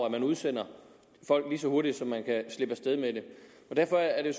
at man udsender folk lige så hurtigt man kan slippe af sted med det og derfor er det